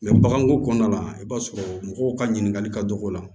baganko kɔnɔna la i b'a sɔrɔ mɔgɔw ka ɲininkali ka dɔgɔ